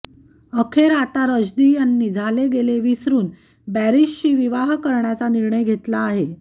अखेर आता रश्दी यांनी झाले गेले विसरुन बॅरिशशी विवाह करण्याचा निर्णय घेतला आहे